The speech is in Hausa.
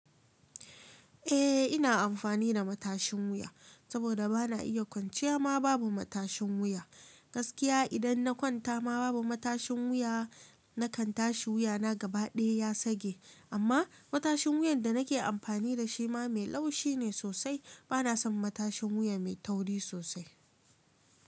Eh ina amfani da matashin wuya, saboda bana iya kwanciya ma babu matashin wuya. Gaskiya idan na kwanta ma babu matashin wuya nakan tashi wuyana gabaɗaya ya sage. Amma matashin wuyan da nake amfani da shi ma mai laushi ne sosai. Bana son matashin wuya mai tauri sosai.